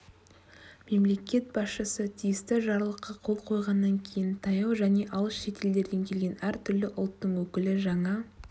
мемлекет басшысы тиісті жарлыққа қол қойғаннан кейін таяу және алыс шетелдерден келген әртүрлі ұлттың өкілі жаңа